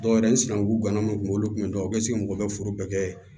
Dɔw yɛrɛ n sinankun ganamu kunyan olu kun bɛ dɔw bɛ sigi mɔgɔw bɛɛ kɛ